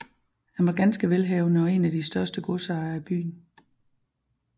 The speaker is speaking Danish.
Han var ganske velhavende og en af de største godsejere i byen